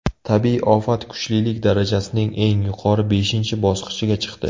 Tabiiy ofat kuchlilik darajasining eng yuqori beshinchi bosqichiga chiqdi.